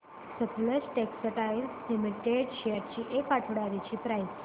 Sutlej textiles limited shares ची एक आठवड्या आधीची प्राइस